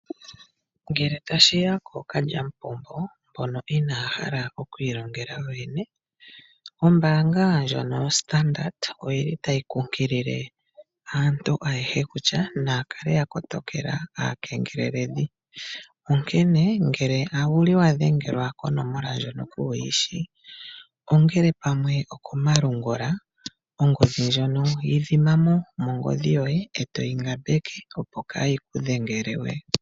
Ngele tashiya kookalyamupombo mbono inaaya hala oku ilongela yo yene, ombaanga ndjono yoStandard oyili tayi kunkilile aantu ayehe kutya naya kale ya kotokela aakengeleledhi, onkene ngele owuli wa dhengelwa kononola ndjono kuuyishi ongele pamwe okomalungula ongodhi ndjono yi dhima mo mongodhi yoye etoyi ngambeke opo kaayi ku dhengele we.